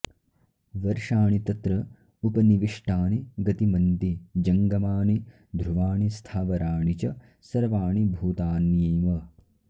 वर्षाणि तत्र उपनिविष्टानि गतिमन्ति जङ्गमानि ध्रुवाणि स्थावराणि च सर्वाणि भूतान्येव